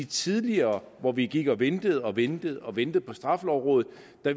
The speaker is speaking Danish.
tidligere hvor vi gik og ventede og ventede og ventede på straffelovrådet